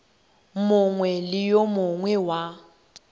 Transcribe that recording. mongwe le yo mongwe wa